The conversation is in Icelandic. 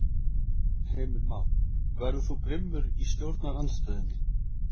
Heimir Már: Verður þú grimmur í stjórnarandstöðunni?